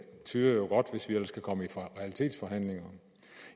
tyder jo godt hvis vi ellers kan komme i realitetsforhandlinger